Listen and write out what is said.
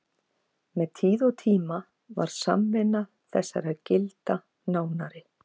Með tíð og tíma varð samvinna þessara gilda nánari.